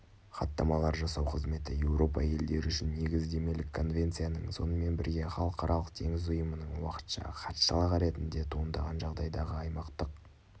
хаттамалар жасау қызметі еуропа елдері үшін негіздемелік конвенцияның сонымен бірге халықаралық теңіз ұйымының уақытша хатшылығы ретінде туындаған жағдайдағы аймақтық